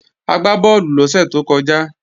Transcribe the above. A gbá bọ́ọ̀lù lọ́sẹ̀ tó kọjá